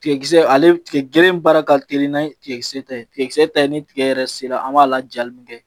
Tigɛ kisɛ ale tigɛ baara ka teli n'a ye tigɛsɛ ta ye tigɛ ta ye ni tigɛ yɛrɛ sera an b'a lajali min kɛ